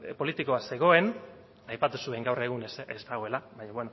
politikoa zegoen aipatu zuen gaur egun ez dagoela baina